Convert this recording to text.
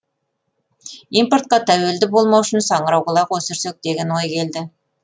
импортқа тәуелді болмау үшін саңырауқұлақ өсірсек деген ой келді